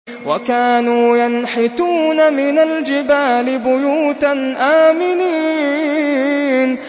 وَكَانُوا يَنْحِتُونَ مِنَ الْجِبَالِ بُيُوتًا آمِنِينَ